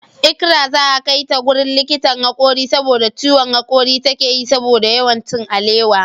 Ikra za'a kaita wajen likitan hakori saboda ciwon hakori takeyi saboda yawan cin alewa.